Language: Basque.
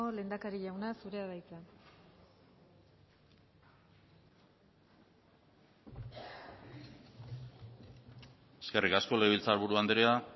lehendakari jauna zurea da hitza eskerrik asko legebiltzarburu andrea